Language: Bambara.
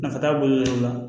Nafa t'a bolo la